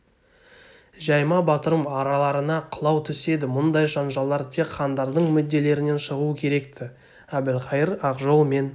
жай ма батырым араларына қылау түседі мұндай жанжалдар тек хандардың мүдделерінен шығуы керек-ті әбілқайыр ақжол мен